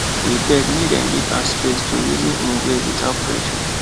e beg make dem give am space to reason him way without pressure